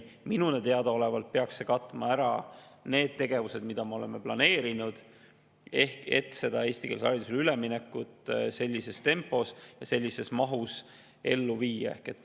Minule teadaolevalt peaks see katma ära need tegevused, mida me oleme planeerinud, et eestikeelsele haridusele üleminekut sellises tempos ja sellises mahus ellu viia.